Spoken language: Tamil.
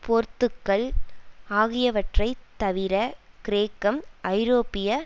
போர்த்துக்கல் ஆகியவற்றை தவிர கிரேக்கம் ஐரோப்பிய